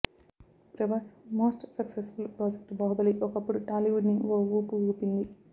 Prabhas most successful project Baahubali ఒకప్పుడు టాలీవుడ్ని ఓ ఊపు ఊపింది